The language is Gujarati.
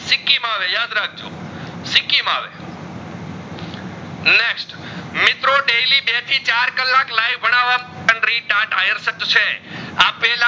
બે થી ચાર કલાક live ભણાવા પણ આયરસક છે આપેલા